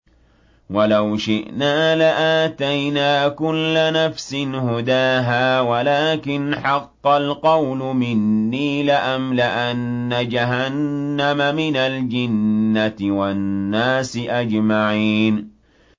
وَلَوْ شِئْنَا لَآتَيْنَا كُلَّ نَفْسٍ هُدَاهَا وَلَٰكِنْ حَقَّ الْقَوْلُ مِنِّي لَأَمْلَأَنَّ جَهَنَّمَ مِنَ الْجِنَّةِ وَالنَّاسِ أَجْمَعِينَ